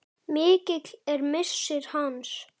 Mikill er missir hans.